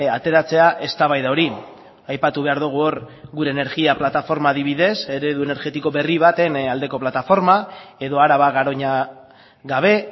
ateratzea eztabaida hori aipatu behar dugu hor gure energia plataforma adibidez eredu energetiko berri baten aldeko plataforma edo araba garoña gabe